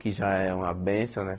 Que já é uma bênção, né?